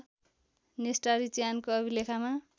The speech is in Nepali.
नेस्टारी चिहानको अभिलेखमा